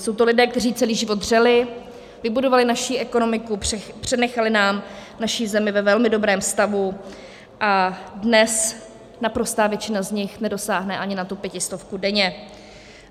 Jsou to lidé, kteří celý život dřeli, vybudovali naši ekonomiku, přenechali nám naši zemi ve velmi dobrém stavu, a dnes naprostá většina z nich nedosáhne ani na tu pětistovku denně.